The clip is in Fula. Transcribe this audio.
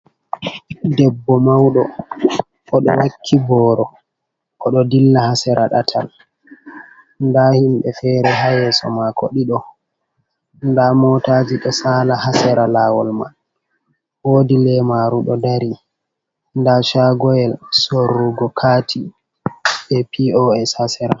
Debbo mauɗo o ɗo wakki boro o ɗo dilla hasera ɗatal nda himɓe e fere ha yeso mako ɗiɗo nda motaji do sala hasera lawol man wodi lemaru ɗo dari nda chagoyel sorrugo kati be pos hasera.